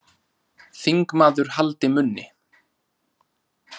Þingmaður haldi munni